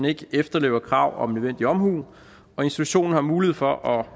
ikke den efterlever krav om nødvendig omhu og institutionen har mulighed for at